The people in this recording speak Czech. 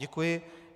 Děkuji.